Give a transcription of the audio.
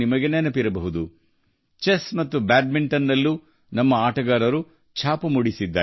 ನಮ್ಮ ಆಟಗಾರರು ಚೆಸ್ ಮತ್ತು ಬ್ಯಾಡ್ಮಿಂಟನ್ನಲ್ಲಿ ಅದ್ಭುತ ಪ್ರಶಸ್ತಿಗಳನ್ನು ಗೆದ್ದಿದ್ದಾರೆ